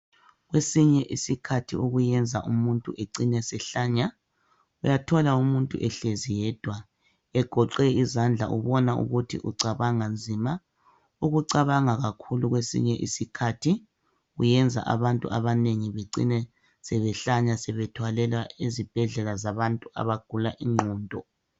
kwesinye isikhathi okwenza umuntu acine ehlanya uyathola umuntu ehlezi yedwa egoqe izandla ubona ukuthi ucabanga nzima ukucabanga kakhulu kwesinye isikhathi kuyenza abantu abanengi becina sebehlanya sebethwalelwa ezibhedlela sabantu abagula ingqondo